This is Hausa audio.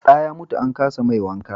da ya mutu an kasa mai wanka